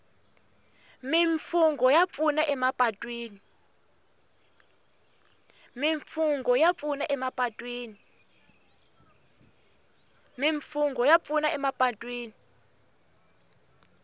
mimfungho ya pfuna emapatwini